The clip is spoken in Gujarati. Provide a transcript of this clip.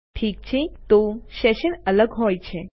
ઠીક છે તો સેશન્સ અલગ હોય છે